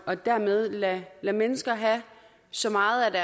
og dermed lade mennesker have så meget